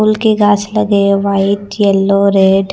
फूल के गाछ लगे हैं वाइट येलो रेड ।